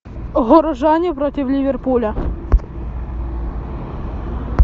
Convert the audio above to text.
горожане против ливерпуля